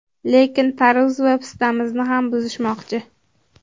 Lekin tarvuz va pistamizni ham buzishmoqchi.